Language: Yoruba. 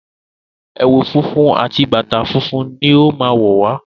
Ewu funfun àti bàtá fún lọ má wọ wá.